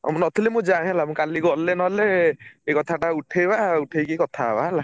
ଅ ମୁଁ ନଥିଲି ମୁଁ ଯାଏଁ ହେଲା ମୁଁ କାଲି ଗଲେ ନହେଲେ ଏଇ କଥା ଟା ଉଠେଇବା ଉଠେଇକି କଥା ହବା ହେଲା।